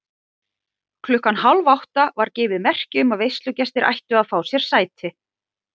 Klukkan hálfátta var gefið merki um að veislugestir ættu að fá sér sæti.